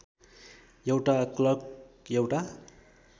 एउटा क्लर्क एउटा